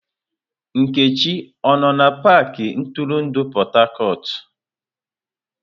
Nkechi ọ no na pakị ntụrụndụ Port Harcourt?